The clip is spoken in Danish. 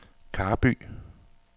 Karby